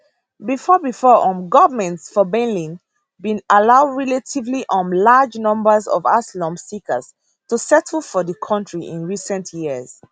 bifor bifor um goments for berlin bin allow relatively um large numbers of asylum seekers to settle for di kontri in recent years